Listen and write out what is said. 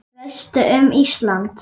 Hvað veistu um Ísland?